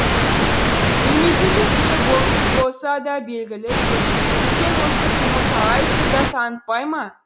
беймезгіл күнде болымсыз болса да белгілі берген осы қимыл талай сырды танытпай ма